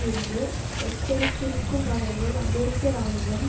என்று எச்சரித்திருக்கும் வகையில் அமெரிக்க இராணுவம்